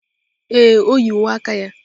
Ee, o yi uwe aka ya.